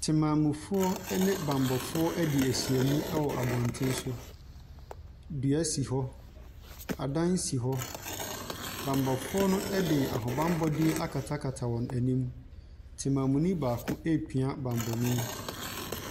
Temaan mu foɔ ɛne banbɔ foɔ ɛde ehyiamu ɛwɔ abɔntene so. Dua si hɔ, adan si hɔ, banbɔfoɔ no ɛde ahobanbɔ de akatakata wɔn enim. Temaan mu ni baako epia banbɔ ni.